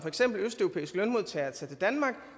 østeuropæisk lønmodtager til danmark